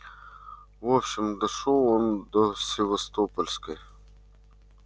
в общем дошёл он до севастопольской